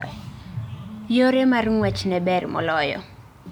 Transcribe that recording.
Yore mar ng'wech ne ber moloyo